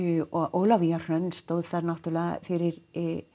Ólafía Hrönn stóð þar náttúrulega fyrir